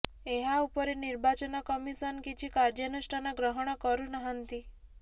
ଏହା ଉପରେ ନିର୍ବାଚନ କମିଶନ କିଛି କାର୍ଯ୍ୟାନୁଷ୍ଠାନ ଗ୍ରହଣ କରୁନାହାନ୍ତି